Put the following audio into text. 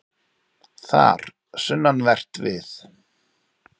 Þar, sunnanvert við